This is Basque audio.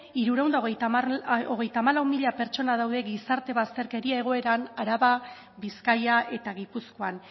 hirurehun eta hogeita hamalau mila pertsona daude gizarte bazterkeria egoeran araba bizkaia eta gipuzkoan